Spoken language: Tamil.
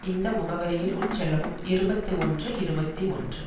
இந்த முகவரியில் உட்செல்லவும் இருபத்தி ஒன்று இருபத்தி ஒன்று